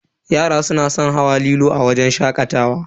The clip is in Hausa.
Yara suna san hawa lilo a wajen shakatawa.